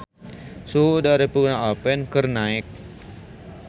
Suhu udara di Pegunungan Alpen keur naek